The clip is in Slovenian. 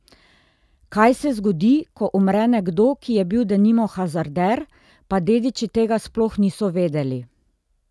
Kaj se zgodi, ko umre nekdo, ki je bil denimo hazarder, pa dediči tega sploh niso vedeli?